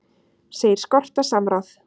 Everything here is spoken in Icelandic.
Segir skorta samráð